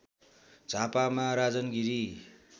झापामा Rajan Giri